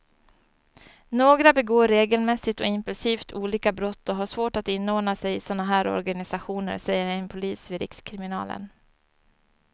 Några begår regelmässigt och impulsivt olika brott och har svårt att inordna sig i såna här organisationer, säger en polis vid rikskriminalen.